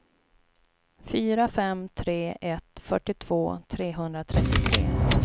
fyra fem tre ett fyrtiotvå trehundratrettiotre